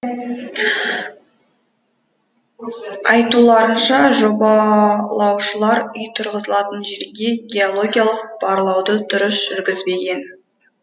айтуларынша жобалаушылар үй тұрғызылатын жерге геологиялық барлауды дұрыс жүргізбеген